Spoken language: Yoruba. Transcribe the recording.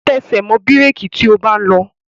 Tẹsẹ̀ mọ́ bírèki tí o bá ń lọ!